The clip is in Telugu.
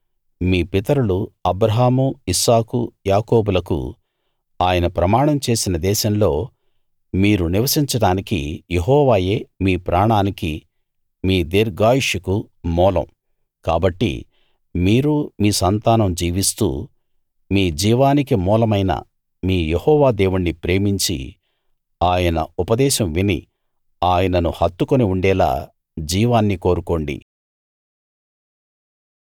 మీ పితరులు అబ్రాహాము ఇస్సాకు యాకోబులకు ఆయన ప్రమాణం చేసిన దేశంలో మీరు నివసించడానికి యెహోవాయే మీ ప్రాణానికీ మీ దీర్ఘాయుష్షుకూ మూలం కాబట్టి మీరూ మీ సంతానం జీవిస్తూ మీ జీవానికి మూలమైన మీ యెహోవా దేవుణ్ణి ప్రేమించి ఆయన ఉపదేశం విని ఆయనను హత్తుకుని ఉండేలా జీవాన్ని కోరుకోండి